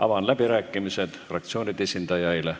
Avan läbirääkimised fraktsioonide esindajaile.